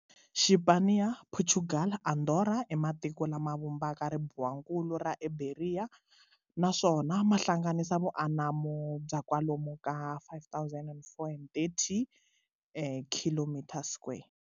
Xipaniya, Portugal na Andora i matiko lama vumbaka ribuwankulu ra Iberiya, naswona ma hlanganisa vu anamo bya kwalomu ka 504,030 km square.